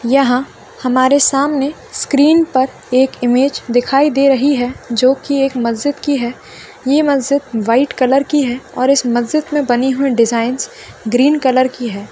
यहाँ हमारे सामने स्क्रीन पर एक इमेज दिखाई दे रही है जो एक मस्जित की है ये मस्जित व्हाइट कलर की है और इस मस्जित मे बनी हुई डिजाइनस ग्रीन कलर की है।